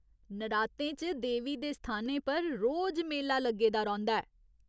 नरातें च देवी दे स्थानें पर रोज मेला लग्गे दा रौंह्दा ऐ।